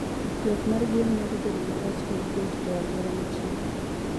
Ywak mar gwen nyalo bedo marach ka gibet e alwora mochido.